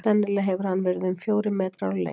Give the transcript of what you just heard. sennilega hefur hann verið um fjórir metrar á lengd